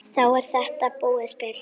Þá er þetta búið spil.